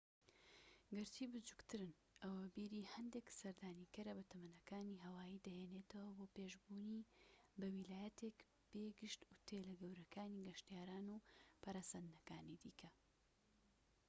گەرچی بچووکترن ئەوە بیری هەندێک سەردانیکارە بەتەمەنەکانی هاوایی دەهێنێتەوە بۆ پێش بوونی بە ویلایەتێک بێ گشت ئوتێلە گەورەکانی گەشتیاران و پەرەسەندنەکانی دیکە